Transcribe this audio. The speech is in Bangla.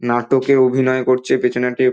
নাটকে অভিনয় করছে পেছনে একটি --